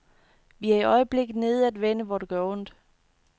Vi er i øjeblikket nede at vende, hvor det gør ondt.